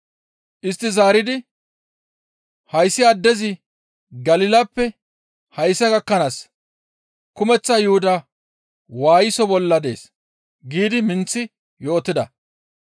Istti zaaridi, «Hayssi addezi Galilappe hayssa gakkanaas kumeththa Yuhuda waayiso bolla dees» giidi minththi yootida.